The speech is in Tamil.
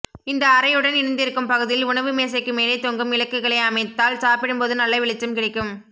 இந்த அறையுடன் இணைந்திருக்கும் பகுதியில் உணவு மேசைக்கு மேலே தொங்கும் விளக்குகளை அமைத்தால் சாப்பிடும்போது நல்ல வெளிச்சம் கிடைக்கும்